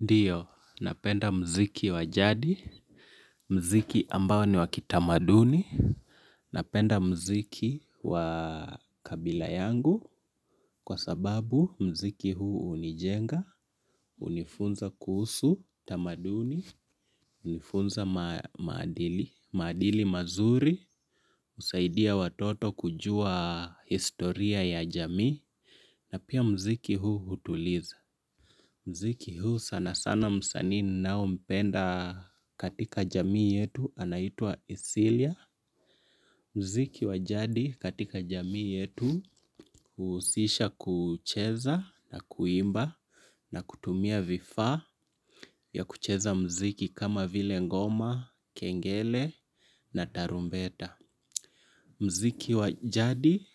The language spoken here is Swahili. Ndio, napenda mziki wa jadi, mziki ambao ni wakitamaduni, napenda mziki wa kabila yangu, kwa sababu mziki huu hunijenga, hunifunza kuhusu, tamaduni, hunifunza maadili, madili mazuri, husaidia watoto kujua historia ya jamii, na pia mziki huu hutuliza. Mziki huu sana sana msanii ninao mpenda katika jamii yetu anaitwa Isilia. Mziki wajadi katika jamii yetu husisha kucheza na kuimba na kutumia vifaa vya kucheza mziki kama vile ngoma, kengele na tarumbeta. Mziki wajadi